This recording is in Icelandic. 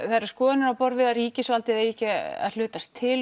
það eru skoðanir á borð við að ríkisvald eigi ekki að hlutast til